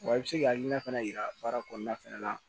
Wa i bɛ se k'i hakilina fana yira baara kɔnɔna fana na